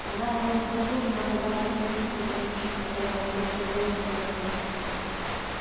она была сконфужена оказавшись единственной женщиной которой нечего было пожертвовать